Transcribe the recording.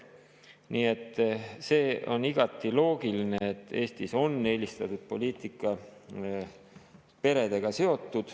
Nii et see on igati loogiline, et Eestis on eelistatud poliitika seotud peredega.